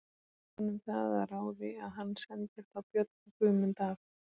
Verður honum það að ráði að hann sendir þá Björn og Guðmund að